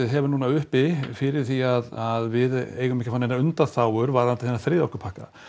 hefur núna uppi fyrir því að við eigum ekki að fá neinar undanþágur varðandi þennan þriðja orkupakka